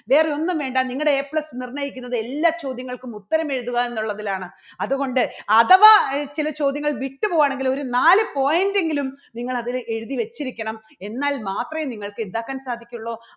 വേറെ ഒന്നും വേണ്ട നിങ്ങടെ A plus നിർണ്ണയിക്കുന്നത് എല്ലാ ചോദ്യങ്ങൾക്കും ഉത്തരം എഴുതുക എന്നുള്ളതിലാണ്. അതുകൊണ്ട് അഥവാ ചില ചോദ്യങ്ങൾ വിട്ടു പോവാണെങ്കില് ഒരു നാല് point എങ്കിലും നിങ്ങൾ അതില് എഴുതി വെച്ചിരിക്കണം എന്നാൽ മാത്രേ നിങ്ങൾക്ക് എന്താക്കാൻ സാധിക്കുള്ളൂ